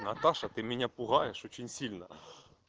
наташа ты меня пугаешь очень сильно